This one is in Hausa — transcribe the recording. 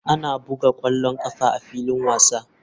Ana buga ƙwallon ƙafa a filin wasa.